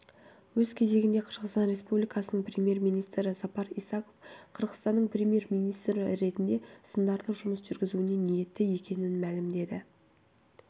өз кезегінде қырғызстан республикасының премьер-министрі сапар исаков қырғызстанның премьер-министрі ретінде сындарлы жұмыс жүргізуге ниетті екенін мәлімдеді